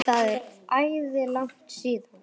Það er æði langt síðan.